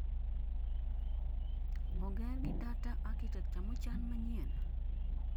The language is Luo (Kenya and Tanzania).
oger gi data architecture mochan manyien?